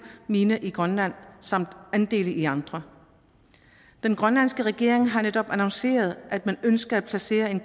mine i grønland samt andele i andre den grønlandske regering har netop annonceret at man ønsker at placere en